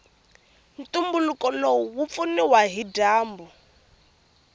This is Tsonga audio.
ntumbuluko lowu wupfuniwa hhijambu